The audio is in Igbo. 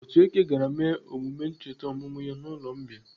Otueke gara mee emume ncheta ọmụmụ ya n'ụlọ mbìa..